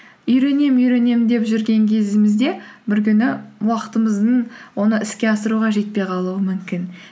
үйренемін үйренемін деп жүрген кезімізде бір күні уақытымыздың оны іске асыруға жетпей қалуы мүмкін